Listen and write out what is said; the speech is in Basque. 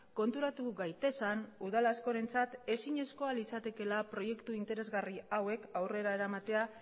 konturatu gaitezen udal askorentzat ezinezkoa litzatekeela proiektu interesgarri hauek aurrera eramatea